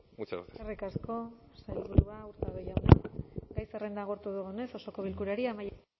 muchas gracias eskerrik asko sailburua hurtado jauna gai zerrenda agortu dugunez osoko bilkurari amaiera